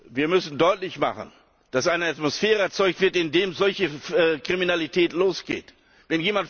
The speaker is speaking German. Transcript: Wir müssen deutlich machen, dass eine Atmosphäre erzeugt wird, die solche Kriminalität fördert.